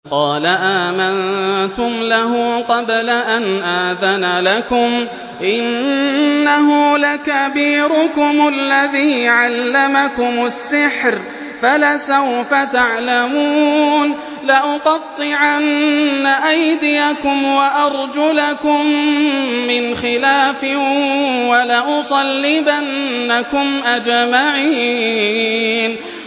قَالَ آمَنتُمْ لَهُ قَبْلَ أَنْ آذَنَ لَكُمْ ۖ إِنَّهُ لَكَبِيرُكُمُ الَّذِي عَلَّمَكُمُ السِّحْرَ فَلَسَوْفَ تَعْلَمُونَ ۚ لَأُقَطِّعَنَّ أَيْدِيَكُمْ وَأَرْجُلَكُم مِّنْ خِلَافٍ وَلَأُصَلِّبَنَّكُمْ أَجْمَعِينَ